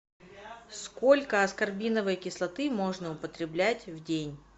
сколько аскорбиновой кислоты можно употреблять в день